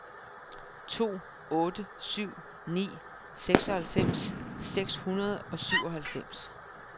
to otte syv ni seksoghalvfems seks hundrede og syvoghalvfems